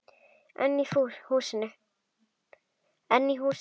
Einn í húsinu.